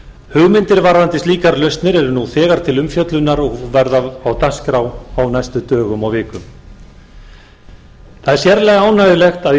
hugmyndir varðandi slíkar lausnir eru nú þegar til umfjöllunar og verða á dagskrá á næstu dögum og vikum það er sérlega ánægjulegt að í